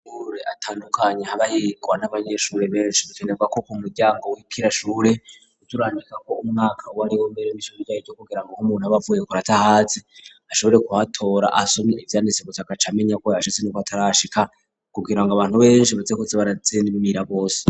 Amashure atandukanye habayirwa n'abanyeshuri benshi bakenerwa ko ko muryango w'ikirashure uturanika ko umwaka wariwe mbere m ishor byahe ryo kugira ngo ho umuntu abaapvuye kur atahazi ashobore kuhatora asomye ibyanditsi gus kaca amenya ko yashize n'uko atarashika kugira ngo abantu benshi basekuse baratsinimira bose.